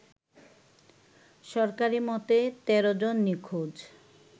সরকারি মতে ১৩ জন নিখোঁজ